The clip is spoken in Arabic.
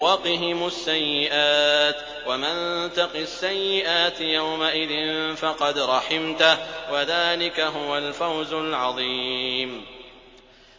وَقِهِمُ السَّيِّئَاتِ ۚ وَمَن تَقِ السَّيِّئَاتِ يَوْمَئِذٍ فَقَدْ رَحِمْتَهُ ۚ وَذَٰلِكَ هُوَ الْفَوْزُ الْعَظِيمُ